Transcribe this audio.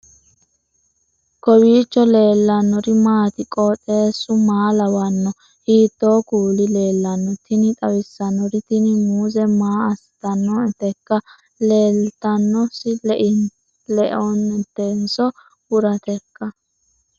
kowiicho leellannori maati ? qooxeessu maa lawaanno ? hiitoo kuuli leellanno ? tini xawissannori tini muuze maa assitannoteikka leinotenniso burateikka